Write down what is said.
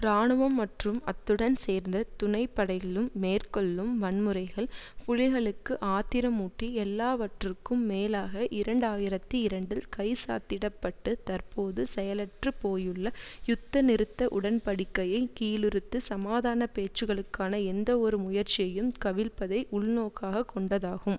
இராணுவம் மற்றும் அத்துடன் சேர்ந்த துணைப்படைகளும் மேற்கொள்ளும் வன்முறைகள் புலிகளுக்கு ஆத்திரமூட்டி எல்லாவற்றுக்கும் மேலாக இரண்டாயிரத்தி இரண்டில் கைச்சாத்திடப்பட்டு தற்போது செயலற்றுப் போயுள்ள யுத்த நிறுத்த உடன்படிக்கையை கீழறுத்து சமாதான பேச்சுக்களுக்கான எந்தவொரு முயற்சியையும் கவிழ்ப்பதை உள்நோக்காகக் கொண்டதாகும்